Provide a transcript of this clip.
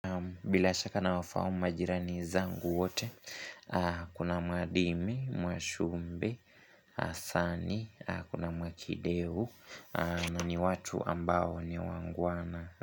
Bila shaka nawafahamu majirani zangu wote Kuna madime, mwashumbe, asani, kuna mwakidehu na ni watu ambao ni wangwana.